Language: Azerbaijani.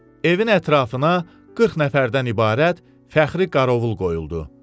Evin ətrafına 40 nəfərdən ibarət fəxri qarovul qoyuldu.